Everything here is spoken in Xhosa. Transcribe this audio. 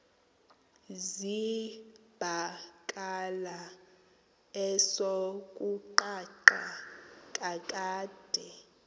zibakala esokuqala kakade